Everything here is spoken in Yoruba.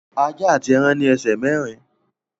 Ajá àti ẹran ní ẹsẹ̀ mẹ́rin